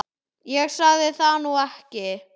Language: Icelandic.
Ég sagði það nú ekki.